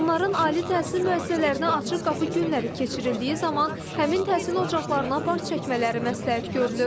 Onların ali təhsil müəssisələrinə açıq qapı günləri keçirildiyi zaman həmin təhsil ocaqlarına baş çəkmələri məsləhət görülür.